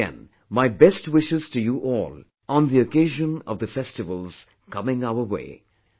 Once again, my best wishes to you all on the occasion of the festivals coming our way